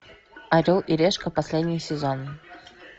орел и решка последний сезон